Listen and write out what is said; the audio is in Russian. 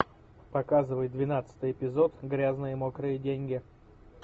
показывай двенадцатый эпизод грязные мокрые деньги